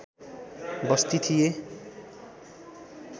बस्ती थिए